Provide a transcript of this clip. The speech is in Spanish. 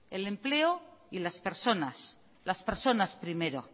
el empleo y las personas las personas primero